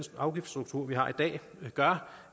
afgiftsstruktur vi har i dag gør